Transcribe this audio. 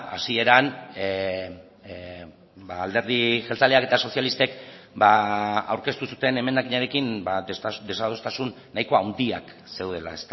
hasieran alderdi jeltzaleak eta sozialistek aurkeztu zuten emendakinarekin desadostasun nahiko handiak zeudela